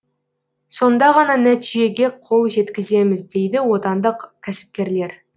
сонда ғана нәтижеге қол жеткіземіз дейді отандық кәсіпкерлер